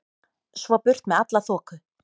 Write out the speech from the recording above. Svo burt með alla þoku.